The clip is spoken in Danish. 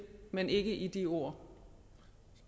men ikke i de ord